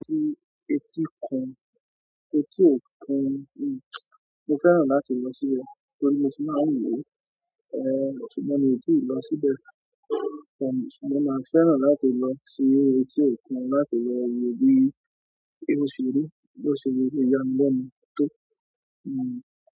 Tí, etí kun, etí òkun, mo fẹ́ràn láti lọ síbẹ̀ torí mó ti má ń wo, ṣùgbọ́n mi ò tí ì lọ síbẹ̀, ṣùgbọ́n mo máa fẹ́ràn láti lọ sí etí òkun láti lo wọ bí o ṣeri, bó ṣe lẹ yami lẹ́nu to.